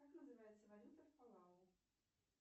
как называется валюта в палау